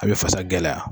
A bɛ fasa gɛlɛya